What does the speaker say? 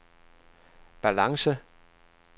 balance